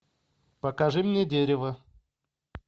покажи мне дерево